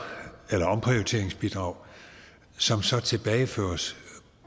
eller omprioriteringsbidrag som så tilbageføres